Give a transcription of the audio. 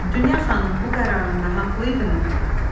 Dünya xanım bu qərarında haqlı idimi?